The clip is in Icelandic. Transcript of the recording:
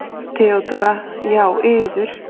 THEODÓRA: Já, yður.